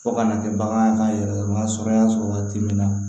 Fo kana kɛ bagan ka yɛrɛ sɔrɔ y'a sɔrɔ waati min na